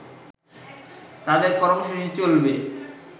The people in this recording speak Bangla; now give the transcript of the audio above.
তাদের কর্মসূচি চলবে